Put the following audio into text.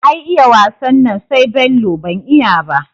Ai iya wasan nan sai Bello, ban iya ba